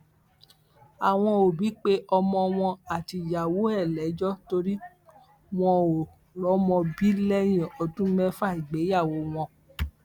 àwọn òbí pe ọmọ wọn àtìyàwó ẹ lẹjọ torí wọn ò rọmọ bí lẹyìn ọdún mẹfà ìgbéyàwó wọn